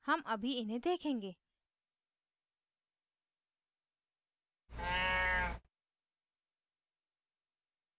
हम अभी इन्हें देखेंगे